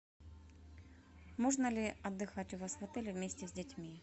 можно ли отдыхать у вас в отеле вместе с детьми